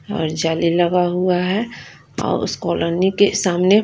और झाली लगा हुआ है और उस कॉलोनी के सामने--